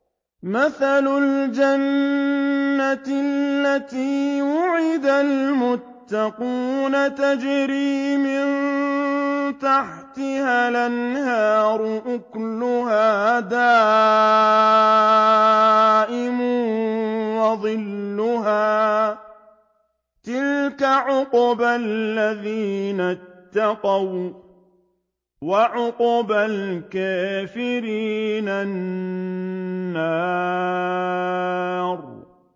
۞ مَّثَلُ الْجَنَّةِ الَّتِي وُعِدَ الْمُتَّقُونَ ۖ تَجْرِي مِن تَحْتِهَا الْأَنْهَارُ ۖ أُكُلُهَا دَائِمٌ وَظِلُّهَا ۚ تِلْكَ عُقْبَى الَّذِينَ اتَّقَوا ۖ وَّعُقْبَى الْكَافِرِينَ النَّارُ